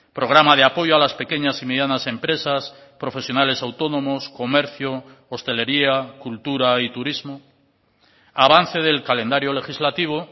programa de apoyo a las pequeñas y medianas empresas profesionales autónomos comercio hostelería cultura y turismo avance del calendario legislativo